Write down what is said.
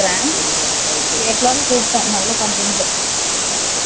பேசலான்னு கூப்பிட்டேன். நல்ல content . Okay . கொடுக்கலா, அவங்ககிட்ட.